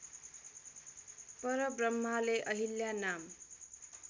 परब्रम्हाले अहिल्या नाम